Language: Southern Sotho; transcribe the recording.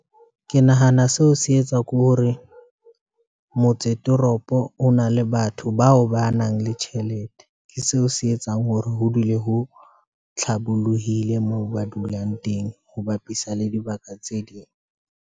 Ke nahana seo se etswa ke hore motse toropo, o na le batho bao ba nang le tjhelete, ke seo se etsang hore ho dule ho hlabollohile moo ba dulang teng ho bapisa le dibaka tse ding.